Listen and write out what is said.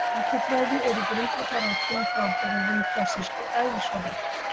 Skammtafræði er í grundvallaratriðum frábrugðin klassískri eðlisfræði.